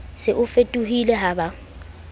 se o fetohile ha ba